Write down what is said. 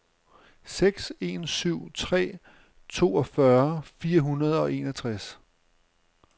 seks en syv tre toogfyrre fire hundrede og enogtres